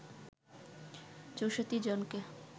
৬৪ জনকে